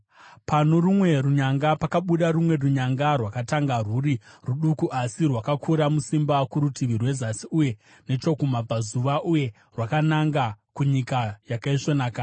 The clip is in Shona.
Pano rumwe runyanga pakabuda rumwe runyanga, rwakatanga rwuri ruduku asi rwakakura musimba kurutivi rwezasi uye nechokumabvazuva uye rwakananga kuNyika Yakaisvonaka.